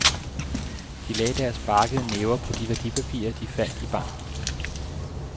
De lagde deres barkede næver på de værdipapirer, de fandt i banken.